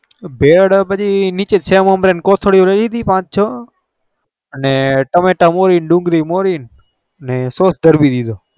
ભેલ છે મમરાની કોથાદેયો પડી રહીતી ટામેટા મોરીન ડુંગરી મોરીન સોસ ધોરી નાખ્યો